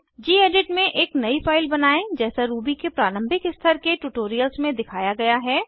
gedit में एक नयी फाइल बनायें जैसा रूबी के प्रारंभिक स्तर के ट्यूटोरियल्स में दिखाया गया है